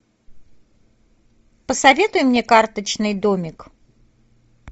посоветуй мне карточный домик